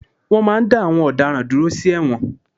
Wọ́n máa n dá àwọn ọ̀daràn dúró sí ẹ̀wọ̀n